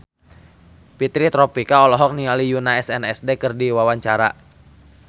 Fitri Tropika olohok ningali Yoona SNSD keur diwawancara